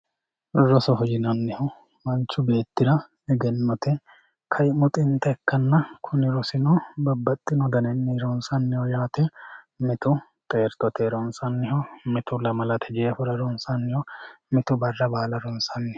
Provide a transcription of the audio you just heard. Rosoho yinannihu manchu beetira eggenotte ka'imu xinta ikkanna, kuni rosino babaxinno daninni ronsanniho yaate mitu xerritote ronsanniho mitu lamalate jeeforra ronsanniho mitu bara baalla ronsaniho